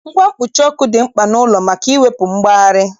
Ngwa mkpuchi ọkụ dị mkpa n'ụlọ maka iwepu mgbari